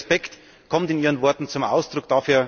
Dieser Respekt kommt in Ihren Worten zum Ausdruck.